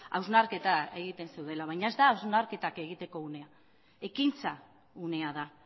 hausnarketa egiten zeudela baina ez da hausnarketa egiteko unea ekintza unea da